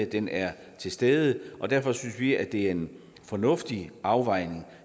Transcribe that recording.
den er til stede og derfor synes vi det er en fornuftig afvejning